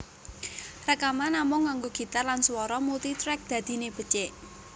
Rèkaman namung nganggo gitar lan swara multitrack dadiné becik